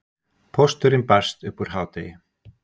Pósturinn barst upp úr hádegi.